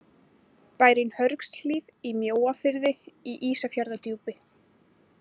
Bærinn Hörgshlíð í Mjóafirði í Ísafjarðardjúpi.